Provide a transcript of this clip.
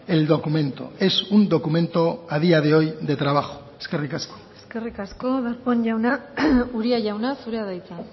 el documento es un documento a día de hoy de trabajo eskerrik asko eskerrik asko darpón jauna uria jauna zurea da hitza